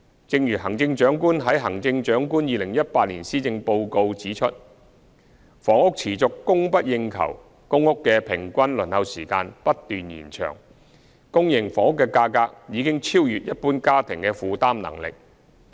正如行政長官在施政報告指出，房屋持續供不應求，公共租住房屋的平均輪候時間不斷延長，私營房屋的價格已超越一般家庭的負擔能力。